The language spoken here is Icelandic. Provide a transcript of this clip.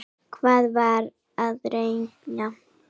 Hvað var hann að reykja?